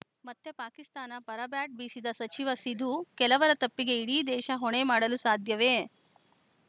ಮತ್ತೆ ಪಾಕಿಸ್ತಾನ ಪರ ಬ್ಯಾಟ್‌ ಬೀಸಿದ ಸಚಿವ ಸಿಧು ಕೆಲವರ ತಪ್ಪಿಗೆ ಇಡೀ ದೇಶ ಹೊಣೆ ಮಾಡಲು ಸಾಧ್ಯವೇ